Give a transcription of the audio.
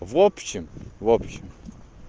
в общем в общем